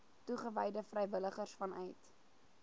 toegewyde vrywilligers vanuit